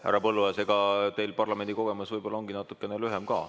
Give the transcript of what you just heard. Härra Põlluaas, teie parlamendikogemus on ka natukene lühem.